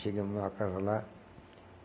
Chegamos numa casa lá.